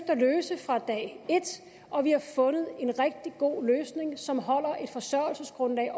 at løse fra dag et og vi har fundet en rigtig god løsning som holder et forsørgelsesgrundlag